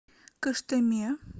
кыштыме